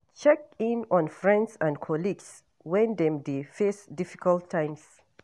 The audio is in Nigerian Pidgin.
Check in on friends and colleagues when dem dey face difficult times